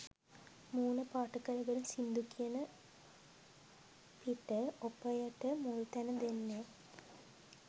මූණ පාට කරගෙන සින්දු කියන පිට ඔපයට මුල්තැන දෙන්නේ.